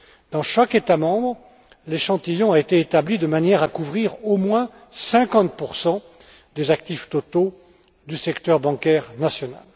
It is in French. Dans chaque État membre, l'échantillon a été établi de manière à couvrir au moins 50 des actifs totaux du secteur bancaire national.